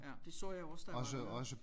Ja det så jeg jo også da jeg var dernede